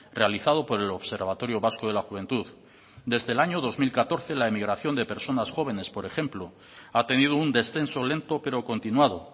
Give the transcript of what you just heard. realizado por el observatorio vasco de la juventud desde el año dos mil catorce la emigración de personas jóvenes por ejemplo ha tenido un descenso lento pero continuado